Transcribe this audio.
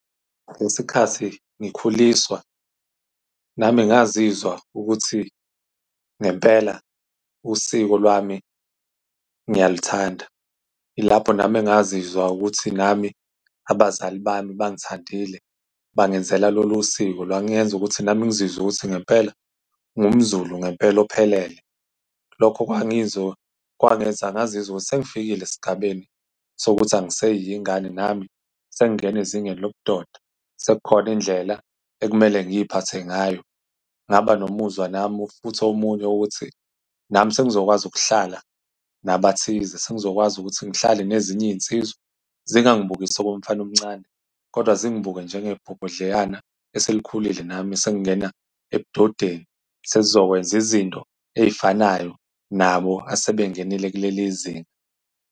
Ngesikhathi ngikhuliswa, nami ngazizwa ukuthi ngempela usiko lwami ngiyaluthanda. Ilapho nami engingazizwa ukuthi nami abazali bami bangithandile, bangenzela lolu siko. Lwangenza ukuthi nami ngizwe ukuthi ngempela ngingumZulu ngempela ophelele. Lokho kwangizwa, kwangenza ngazizwa ukuthi sengifikile esigabeni sokuthi angiseyiyo ingane. Nami sengingena ezingeni lobudoda. Sekukhona indlela ekumele ngiy'phathe ngayo. Ngaba nomuzwa nami, futhi omunye ukuthi nami sengizokwazi ukuhlala nabathize. Sengizokwazi ukuthi ngihlale nezinye izinsizwa. Zingangibukisi okomfana omncane, kodwa zingibuke njengebhobhodleyana eselikhulile. Nami sengingena ebudodeni. Sengizokwenza izinto ezifanayo nabo asebengenile kuleli zinga.